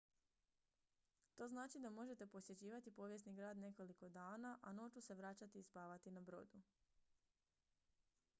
to znači da možete posjećivati povijesni grad nekoliko dana a noću se vraćati i spavati na brodu